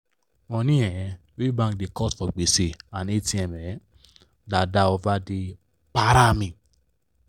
money um wey bank da cut for gbese and atm um da da over e da para me